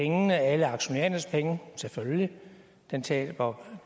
pengene alle aktionærernes penge selvfølgelig den taber